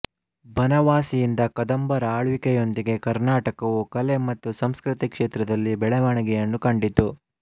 ಬನವಾಸಿಯಿಂದ ಕದಂಬರ ಆಳ್ವಿಕೆಯೊಂದಿಗೆ ಕರ್ನಾಟಕವು ಕಲೆ ಮತ್ತು ಸಂಸ್ಕೃತಿ ಕ್ಷೇತ್ರದಲ್ಲಿ ಬೆಳವಣಿಗೆಗಳನ್ನು ಕಂಡಿತು